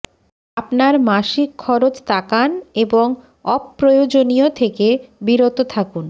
আপনার মাসিক খরচ তাকান এবং অপ্রয়োজনীয় থেকে বিরত থাকুন